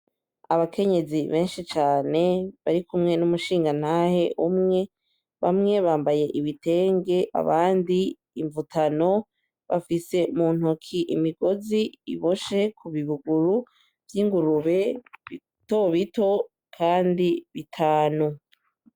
Abakenyezi benshi cane bari kumwe n'umushingantahe umwe bamwe bambaye ibitenge abandi imvutano bafise mu ntoki imigozi iboshe ku bibuguru vy'ingurube bitobito, kandi bitanu.